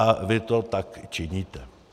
A vy to tak činíte.